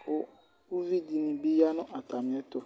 ku, ku ivi dini bi ya nu ata mi ɛtu